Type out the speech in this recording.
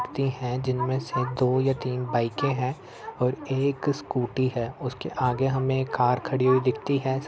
व्यक्ति हैं। जिनमे से दो या तीन बाइकें है और एक स्कूटी है। उसके आगे हमें एक कार खड़ी हुई दिखती है।